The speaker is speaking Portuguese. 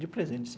De presente.